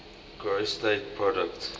gross state product